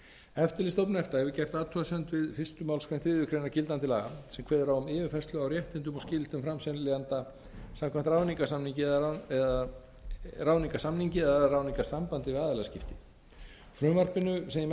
eftirlitsstofnun efta hefur gert athugasemd við fyrstu málsgrein þriðju grein gildandi laga sem kveður á um yfirfærslu á réttindum og skyldum seljenda samkvæmt ráðningarsamningi eða ráðningarsambandi við aðilaskipti frumvarpinu sem ég mæli hér fyrir er